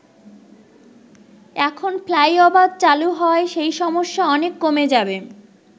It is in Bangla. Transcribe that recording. এখন ফ্লাইওভার চালু হওয়ায় সেই সমস্যা অনেক কমে যাবে।